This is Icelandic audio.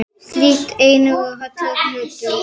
Slík eining er kölluð hlutur.